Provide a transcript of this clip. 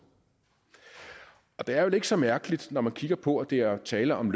det er vel ikke så mærkeligt når man kigger på at der er tale om